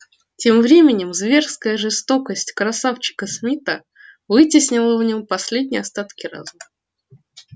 тем временем зверская жестокость красавчика смита вытеснила в нём последние остатки разума